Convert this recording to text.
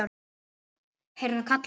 heyrði hann kallað.